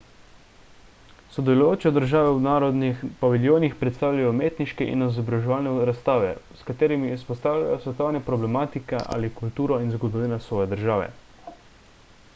sodelujoče države v narodnih paviljonih predstavljajo umetniške in izobraževalne razstave s katerimi izpostavljajo svetovne problematike ali kulturo in zgodovino svoje države